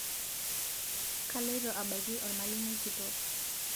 kaloito abaiki olmalimui kitok